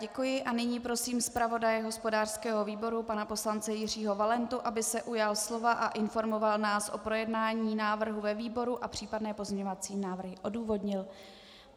Děkuji a nyní prosím zpravodaje hospodářského výboru pana poslance Jiřího Valentu, aby se ujal slova a informoval nás o projednání návrhu ve výboru a případné pozměňovací návrhy odůvodnil.